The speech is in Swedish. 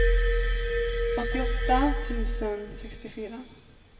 åttioåtta tusen sextiofyra